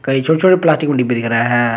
कई छोटे छोटे प्लास्टिक में डिब्बे दिख रहे है।